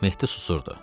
Mehdi susurdu.